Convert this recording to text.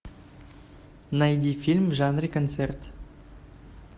найди фильм в жанре концерт